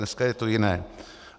Dneska je to jiné.